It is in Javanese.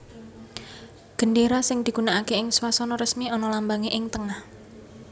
Gendéra sing digunakaké ing swasana resmi ana lambangé ing tengah